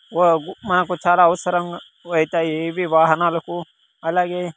వా మాకు చాలా అవసరం వైతాయి ఇవి వాహనాలకు అలాగే--